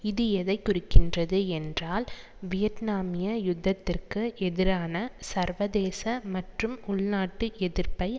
இது எதை குறிக்கின்றது என்றால் வியட்னாமிய யுத்தத்திற்கு எதிரான சர்வதேச மற்றும் உள்நாட்டு எதிர்ப்பை